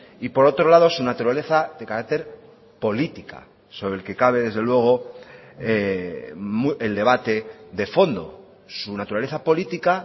y por otro lado su naturaleza de carácter política sobre el que cabe desde luego el debate de fondo su naturaleza política